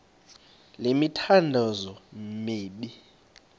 le mithandazo mibini